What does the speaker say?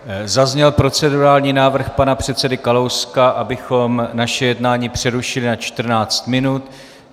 Zazněl procedurální návrh pana předsedy Kalouska, abychom naše jednání přerušili na 14 minut.